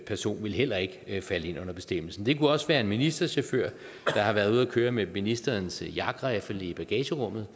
person vil heller ikke ikke falde ind under bestemmelsen det kunne også være en ministerchauffør der har været ude at køre med ministerens jagtriffel i bagagerummet